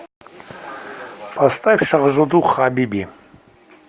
поставь шахзоду хабиби